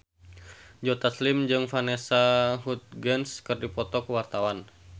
Joe Taslim jeung Vanessa Hudgens keur dipoto ku wartawan